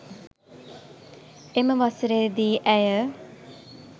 එම වසරේ දී ඇය